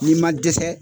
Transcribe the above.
N'i ma dɛsɛ